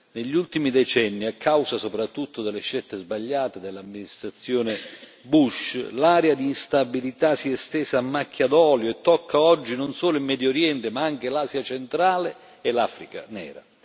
Negli ultimi decenni, a causa soprattutto delle scelte sbagliate dell'amministrazione Bush, l'area di instabilità si è estesa a macchia d'olio e tocca oggi non solo il Medio Oriente ma anche l'Asia Centrale e l'Africa nera.